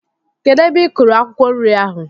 Kedụ ebe i kúrú akwukwo nri ahụ?